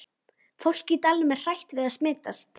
Fólkið í dalnum er hrætt við að smitast.